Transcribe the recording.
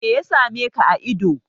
Meya same ka a ido?